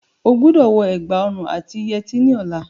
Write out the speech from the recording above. O gbọ́dọ̀ wọ ẹ̀gbà òrun àti yẹtí ní ọlá.